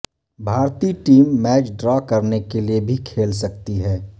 بھارتی team match draw کرنے کے لیے بھی کھیل سکتی ہے